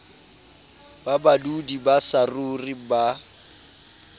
ba badudi ba saruri ba